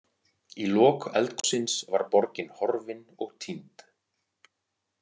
Í lok eldgossins var borgin horfin og týnd.